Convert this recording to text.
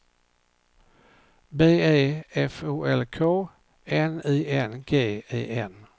B E F O L K N I N G E N